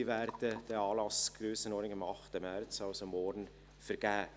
Diese werden den Anlass Grössenordnung am 8. März vergeben, also morgen.